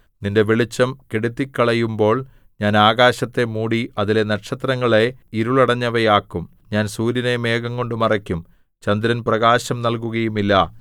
നിന്റെ വെളിച്ചം കെടുത്തിക്കളയുമ്പോൾ ഞാൻ ആകാശത്തെ മൂടി അതിലെ നക്ഷത്രങ്ങളെ ഇരുളടഞ്ഞവയാക്കും ഞാൻ സൂര്യനെ മേഘംകൊണ്ടു മറയ്ക്കും ചന്ദ്രൻ പ്രകാശം നല്കുകയും ഇല്ല